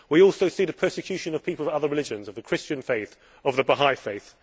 We also see the persecution of people of other religions, of the Christian faith, of the Baha'i faith.